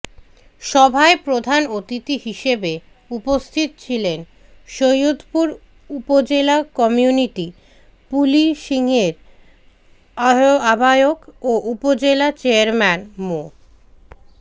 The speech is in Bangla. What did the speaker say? সভায় প্রধান অতিথি হিসেবে উপস্থিত ছিলেন সৈয়দপুর উপজেলা কমিউনিটি পুলিশিংয়ের আহ্বায়ক ও উপজেলা চেয়ারম্যান মো